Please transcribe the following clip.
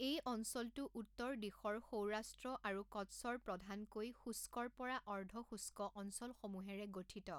এই অঞ্চলটো উত্তৰ দিশৰ সৌৰাষ্ট্ৰ আৰু কচ্ছৰ প্ৰধানকৈ শুষ্কৰ পৰা অৰ্ধশুষ্ক অঞ্চলসমূহেৰে গঠিত।